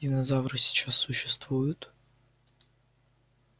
динозавры сейчас существуют